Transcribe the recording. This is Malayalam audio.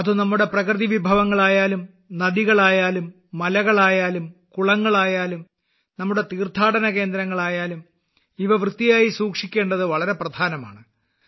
അത് നമ്മുടെ പ്രകൃതി വിഭവങ്ങളായാലും നദികളായാലും മലകളായാലും കുളങ്ങളായാലും നമ്മുടെ തീർത്ഥാടന കേന്ദ്രങ്ങളായാലും അവ വൃത്തിയായി സൂക്ഷിക്കേണ്ടത് വളരെ പ്രധാനമാണ്